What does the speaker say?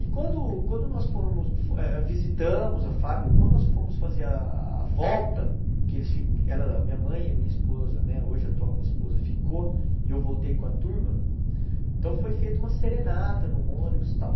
E quando quando nós eh visitamos a fábrica, quando nós fomos fazer a volta, que eles ficam ela a minha mãe e a minha esposa, né hoje a atual minha esposa, ficou e eu voltei com a turma, então foi feita uma serenata no ônibus e tal.